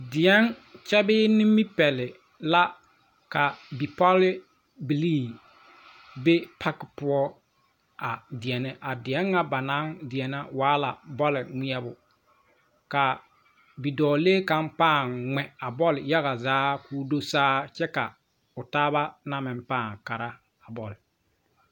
Deɛŋ kyɛ bee nibipɛle la ka bipɔlbilii be paki poɔ a deɛnɛ a deɛn ŋa ba naŋ deɛnɛ waa la bɔle ngmɛɛbo kaa bidɔɔlee kaŋ pããŋ ngmɛ a bɔl yaga zaa koo do saa kyɛ ka o taaba na meŋ pãã kara a bɔl.